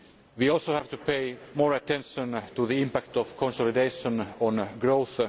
We also have to pay more attention to the impact of consolidation on growth.